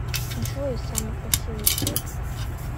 джой самый красивый цвет